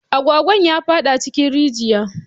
Agwagwan ya faɗi cikin rijiya